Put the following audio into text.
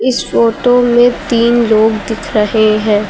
इस फोटो में तीन लोग दिख रहे हैं।